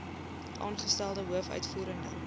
aangestelde hoof uitvoerende